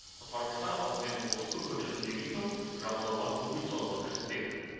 құтқарушылар алдымен осы көпірді жөндеген соң жағалауға бөгет салуға кіріспек